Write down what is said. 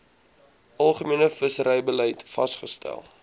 algemene visserybeleid vasgestel